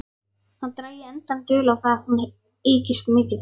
Hann drægi enga dul á það: hún ykist mikið.